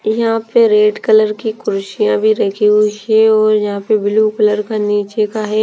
यहाँ पर red colour की कुरशियाँ भी रखी हुई है और यहाँ पे ब्लू कलर का निचे का है।